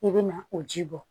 I bɛ na o ji bɔ